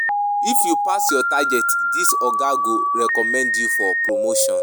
If you pass your target dis oga go recommend you for promotion.